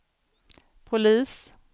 polis